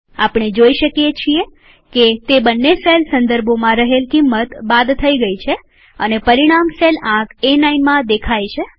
આપણે જોઈ શકીએ છીએ કે તે બંને સેલ સંદર્ભોમાં રહેલ કિંમત બાદ થઇ ગયી છે અને પરિણામ સેલ આંક એ9માં દેખાય છે